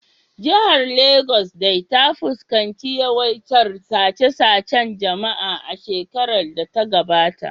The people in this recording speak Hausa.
Jihar Legas dai ta fuskanci yawaitar sace-sacen jama’a a shekarar da ta gabata